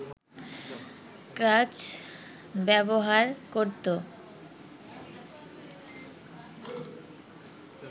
ক্রাচ ব্যবহার করত